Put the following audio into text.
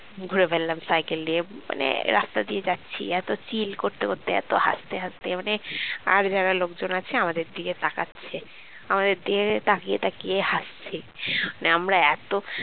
ঘুরে ফেললাম cycle নিয়ে মানে রাস্তা দিয়ে যাচ্ছি এত chill করতে করতে এত হাসতে হাসতে মানে আর যারা লোকজন আছে আমাদের দিকে তাকাচ্ছে আমাদের দিকে তাকিয়ে তাকিয়ে হাসছে মানে আমরা এত